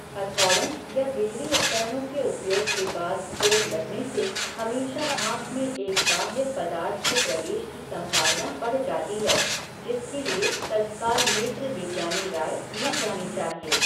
हथौड़ों या बिजली उपकरणों के उपयोग के बाद चोट लगने से हमेशा आंख में एक बाह्य पदार्थ के प्रवेश की संभावना बढ़ जाती है, जिसके लिए तत्काल नेत्र विज्ञानी राय ली जानी चाहिए।